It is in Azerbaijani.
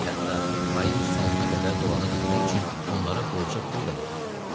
Hətta ayın sonuna qədər dolana bilmək üçün onlara borca pul da verirdim.